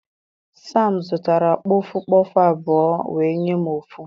Sam zụtara kpọfụ kpọfụ abụọ wee nye m ofu.